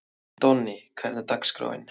Donni, hvernig er dagskráin?